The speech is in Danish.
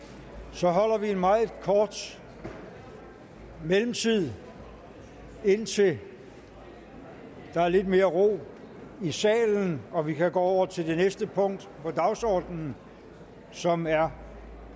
så holder vi en meget kort mellemtid indtil der er lidt mere ro i salen og vi kan gå over til næste punkt på dagsordenen som er